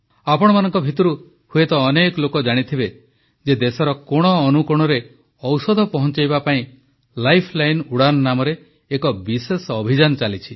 ଆପଣମାନଙ୍କ ଭିତରୁ ହୁଏତ ଅନେକ ଲୋକ ଜାଣିଥିବେ ଯେ ଦେଶର କୋଣଅନୁକୋଣରେ ଔଷଧ ପହଂଚାଇବା ପାଇଁ ଲାଇଫଲାଇନ୍ ଉଡ଼ାନ ନାମରେ ଏକ ବିଶେଷ ଅଭିଯାନ ଚାଲିଛି